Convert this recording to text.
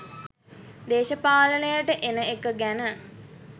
දේශපාලනයට එන එක ගැන